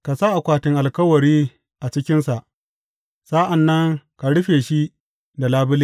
Ka sa akwatin Alkawari a cikinsa, sa’an nan ka rufe shi da labule.